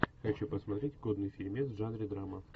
хочу посмотреть годный фильмец в жанре драма